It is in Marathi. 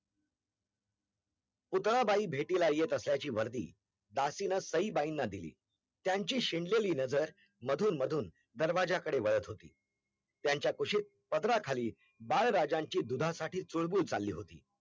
पुतळाबाई भेटीला येत आसल्याची वरदी दासींन सईबाईना दिली त्यांची शेंडलेली नज़र मधून मधून दरवाज़ा कड़े वळत होती त्यांच्या कुशीत पदराखाली बाळराजांची दुधासाठी चुळबुळ चालली होती